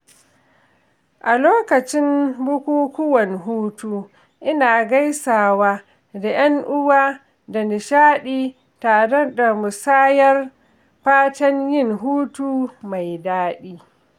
A lokacin bukukuwan hutu, ina gaisawa da ‘yan uwa da nishaɗi tare da musayar fatan yin hutu mai daɗi.